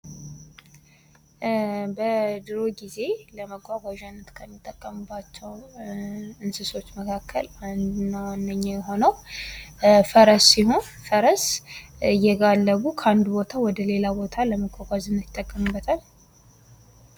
በድሮ ጊዜ ለመጓጓዣነት ከሚጠቀሙባቸው እንሦች መካከል አንዱ እና ዋነኛው የሆነው ፈረስ ሲሆን፤ ፈረስ እየጋለቡ ከአንዱ ቦታ ወደሌላ ቦታ ለመጓጓዝ ይጠቀሙበታል።